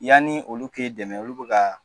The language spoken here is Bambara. Yanni olu kɛ dɛmɛ olu bɛ ka